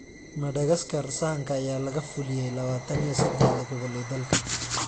Madagaskar, sahanka ayaa laga fuliyay lawatan iuyo sedhaxdha gobol ee dalka.